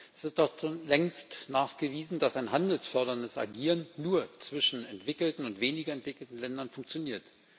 Ist es doch schon längst nachgewiesen, dass ein handelsförderndes Agieren nur zwischen entwickelten und weniger entwickelten Ländern funktioniert.